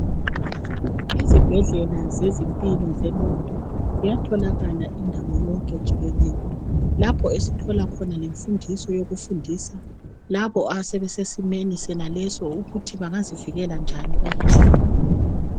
Izibhedlela zezimpilo zengqondo ziyatholakala indawo yonke jikelele, lapho esithola khona lemfundiso yokufundisa labo asebesesimeni sonaleso ukuthi bangazivikela njani emkhuhlaneni lowu.